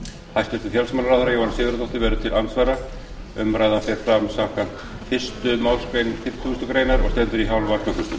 hæstvirts félagsmálaráðherra jóhanna sigurðardóttir verður til andsvara umræðan fer fram samkvæmt fyrstu málsgrein fimmtugustu grein þingskapa og stendur í hálfa klukkustund